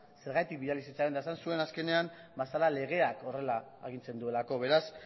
zergatik bidali zitzaion eta esan zuen azkenean ba zela legeak horrela agintzen zuelako beraz